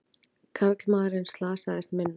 Karlmaðurinn slasaðist minna